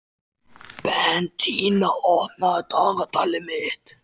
Bentína, opnaðu dagatalið mitt.